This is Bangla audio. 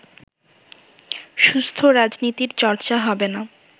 সুস্থ রাজনীতির চর্চা হবে না